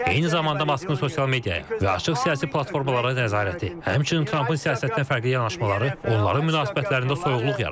Eyni zamanda Maskın sosial mediaya və açıq siyasi platformalara nəzarəti, həmçinin Trampın siyasətinə fərqli yanaşmaları onların münasibətlərində soyuqluq yaradıb.